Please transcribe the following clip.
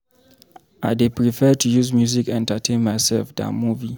I dey prefer to use music entertain mysef dan movie.